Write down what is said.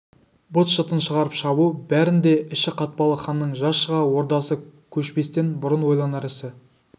быт-шытын шығарып шабу бәрін де іші қатпалы ханның жаз шыға ордасы көшпестен бұрын ойланар ісі